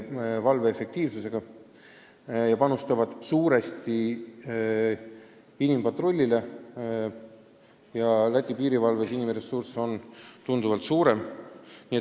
Ka panustavad nad suuresti inimpatrullile, Läti piirivalves on inimressurss tunduvalt suurem kui meil.